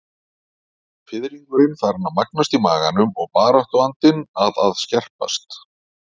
Fiðringurinn farinn að magnast í maganum og baráttuandinn að að skerpast.